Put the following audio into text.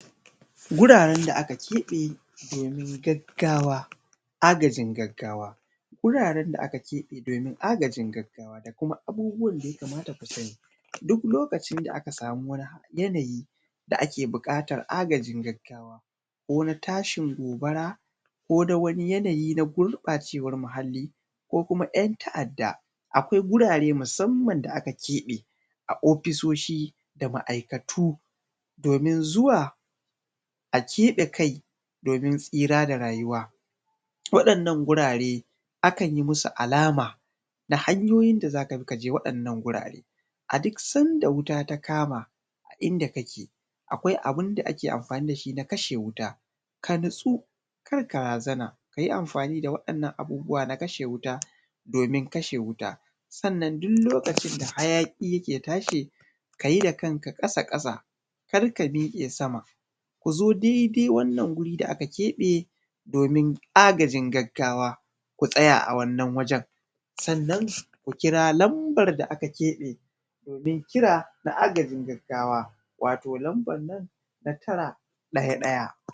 Wuraren da aka keɓe domin gaggawa agajin gaggawa, wuraren da aka keɓe domin agajin gaggawa abubuwan da ya kamata ku sani, duk lokacin da aka samu wani yanayi da ake buƙatar agajin gaggawa ko na tashi gobara ko na wani yanayi na gurɓacewar muhalli ko ‘yan ta'adda akwai wurare musamman da aka keɓe a ofisoshin ma'aikatu domin zuwa a keɓe kai domin tsira da rayuwa. Waɗannan wurare akan yi musu alama da hanyoyin da za ka bi ka je waɗannan wurare, a duk sanda wuta ta kama inda ake akwai abun da ake anfani da shi na kashe wuta sai ka natsu karka razana akwai inda irin waɗannan abubuwa na kashe wutan. Sannan duk lokacin da hayaƙi yake tashi ka yi da kanka ƙasa-ƙasa karka miƙe sama ku zo daidai wannan wurin da aka keɓe domin agajin gaggawa ku tsaya a Wannan wajen ku kira lambar da aka keɓe, domin kira na agajin gaggawa wato lambar nan na tara ɗaya ɗaya.